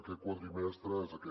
aquest quadrimestre és aquest